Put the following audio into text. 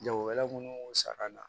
Jagokɛla minnu saga la